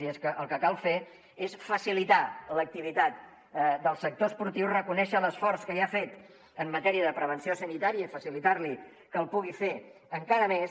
i és que el que cal fer és facilitar l’activitat del sector esportiu reconèixer l’esforç que ja ha fet en matèria de prevenció sanitària i facilitar li que el pugui fer encara més